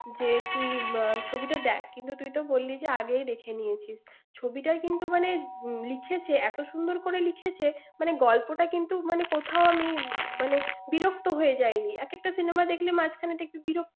যে তুমি বা~ ছবিটা দেখ। কিন্তু তুই তো বললি যে আগেই দেখে নিয়েছিস। ছবিটা কিন্তু মানে, লিখেছে এত সুন্দর করে লিখেছে, মানে গল্পটা কিন্তু মানে কোথাও আমি মানে বিরক্ত হয়ে যায়নি। এক একটা cinema দেখলে মাঝখানে একটু বিরক্ত।